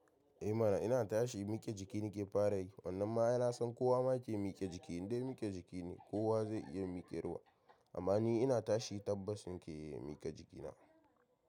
Eh mana ina tashi mike jiki nake fara yi, wannan ma aina san kowa ma ke mike jiki inde mike jiki ne kowa zai iya miƙarwa. Amma ni ina tashi tabbas ni ke miƙe jikina.